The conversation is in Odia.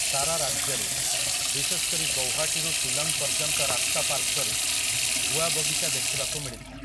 ସାରା ରାଜ୍ୟରେ, ବିଶେଷ କରି ଗୌହାଟୀରୁ ଶିଲଂ ପର୍ଯ୍ୟନ୍ତ ରାସ୍ତା ପାର୍ଶ୍ୱରେ, ଗୁଆ ବଗିଚା ଦେଖିବାକୁ ମିଳିଥାଏ ।